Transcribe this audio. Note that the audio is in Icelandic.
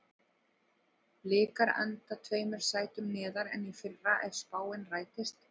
Blikar enda tveimur sætum neðar en í fyrra ef spáin rætist.